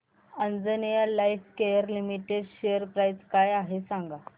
Anjaneya Lifecare limited share price काय आहे सांगा